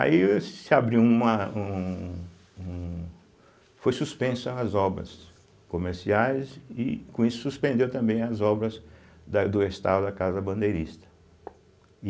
Aí se abriu uma um um, foi suspensa as obras comerciais e, com isso, suspendeu também as obras da do restauro da Casa Bandeirista.